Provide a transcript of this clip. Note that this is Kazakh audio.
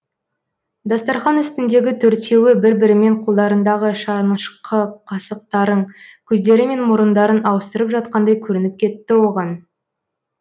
дастархан үстіндегі төртеуі бір бірімен қолдарындағы шанышқы қасықтарын көздері мен мұрындарын ауыстырып жатқандай көрініп кетті оған